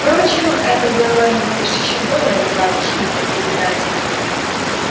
впрочем это делало его лишь ещё более загадочным и притягательным